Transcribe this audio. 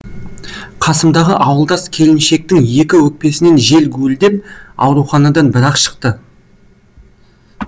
қасымдағы ауылдас келіншектің екі өкпесінен жел гуілдеп ауруханадан бір ақ шықты